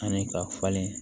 Ani ka falen